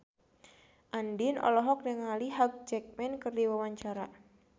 Andien olohok ningali Hugh Jackman keur diwawancara